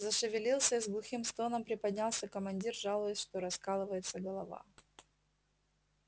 зашевелился и с глухим стоном приподнялся командир жалуясь что раскалывается голова